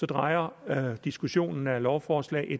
drejer diskussionen om lovforslag l